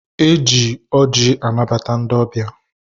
E ji ọjị anabata ndị ọbịa.